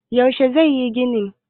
yaushe zai yi ginin?